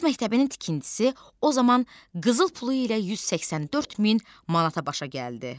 Qız məktəbinin tikintisi o zaman qızıl pulu ilə 184 min manata başa gəldi.